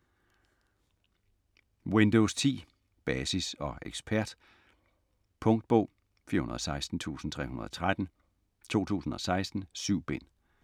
Windows 10: Basis og ekspert Punktbog 416313 2016. 7 bind.